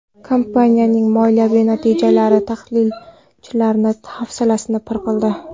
Kompaniyaning moliyaviy natijalari tahlilchilar hafsalasini pir qildi.